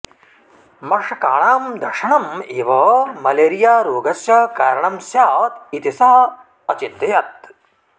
मषकाणां दशनम् एव मलेरियारेगस्य कारणं स्यात् इति सः अचिन्तयत्